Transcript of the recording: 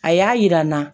A y'a yira n na